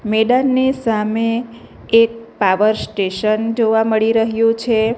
મેદાનની સામે એક પાવર સ્ટેશન જોવા મળી રહ્યું છે.